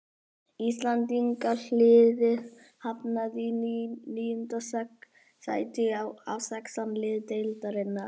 Íslendingaliðið hafnaði í níunda sæti af sextán liðum deildarinnar.